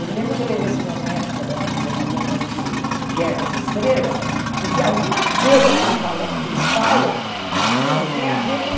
Eu me lembro quando eu levei esse meu neto, que agora está com dezenove anos para assistir Guerra nas Estrelas, porque algumas coisas que eles fala que eles falam no filme têm a ver com...